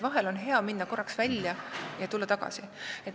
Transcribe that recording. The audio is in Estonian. Vahel on hea minna korraks välja ja tulla tagasi.